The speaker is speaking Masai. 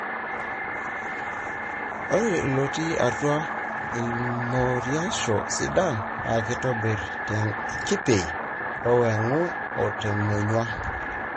ore ilotii atua ilmoriosho sidan na kitobiri tolkipei, owengu, otemonyua.